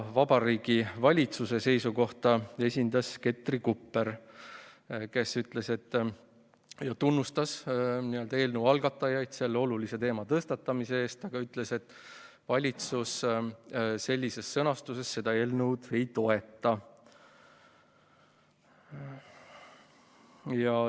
Vabariigi Valitsuse seisukohta esindas Ketri Kupper, kes tunnustas eelnõu algatajaid selle olulise teema tõstatamise eest, aga ütles, et valitsus sellises sõnastuses seda eelnõu ei toeta.